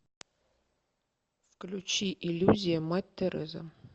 включи иллюзия мать тереза